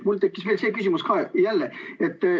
Mul tekkis veel selline küsimus.